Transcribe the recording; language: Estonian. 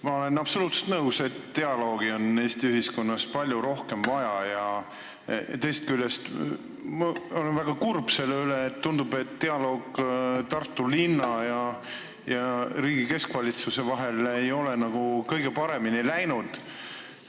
Ma olen absoluutselt nõus, et dialoogi on Eesti ühiskonnas palju rohkem vaja, ja teisest küljest ma olen väga kurb selle pärast, et tundub, et dialoog Tartu linna ja riigi keskvalitsuse vahel ei ole kõige paremini läinud.